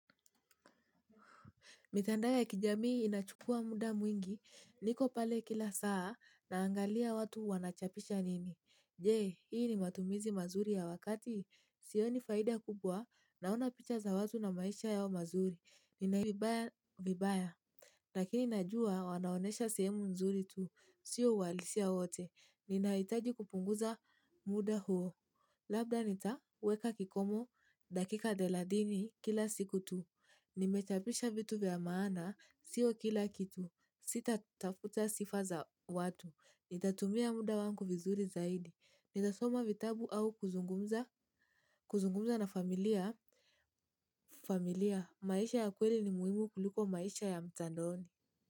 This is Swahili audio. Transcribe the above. Mitandao ya kijamii inachukua muda mwingi, niko pale kila saa, naangalia watu wanachapisha nini. Je, hii ni matumizi mazuri ya wakati? Sioni faida kubwa, naona picha za watu na maisha yao mazuri. Ninahisi vibaya vibaya. Lakini najua, wanaonyesha sehemu nzuri tu, sio uhalisia wote. Ninahitaji kupunguza muda huo. Labda nitaweka kikomo dakika thelathini kila siku tu. Nimechapisha vitu vya maana, sio kila kitu, sitatafuta sifa za watu. Nitatumia muda wangu vizuri zaidi, nitasoma vitabu au kuzungumza na familia. Familia, maisha ya kweli ni muhimu kuliko maisha ya mtandaoni.